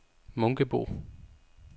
Munkebo